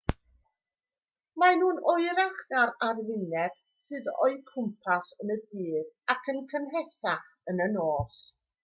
maen nhw'n oerach na'r arwyneb sydd o'u cwmpas yn y dydd ac yn gynhesach yn y nos